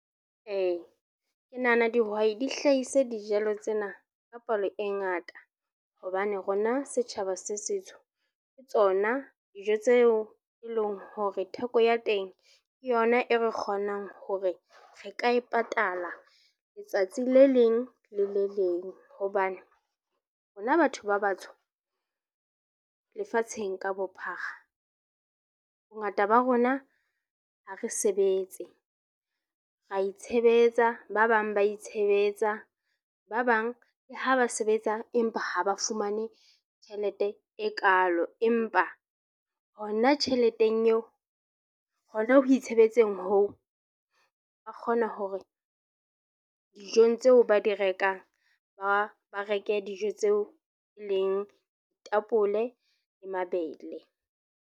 Ee, ke nahana dihwai di hlahise dijalo tsena ka palo e ngata hobane rona setjhaba se setsho, tsona dijo tseo e leng hore theko ya teng ke yona e re kgonang hore re ka e patala letsatsi le leng le le leng. Hobane rona batho ba batsho lefatsheng ka bophara, bongata ba rona ha re sebetse, ra itshebetsa, ba bang ba itshebetsa, ba bang le ha ba sebetsa, empa ha ba fumane tjhelete e kalo, empa hona tjheleteng eo. Hona ho itshebetsang hoo ba kgona hore dijong tseo ba di rekang ba ba reka dijo tseo e leng tapole le mabele.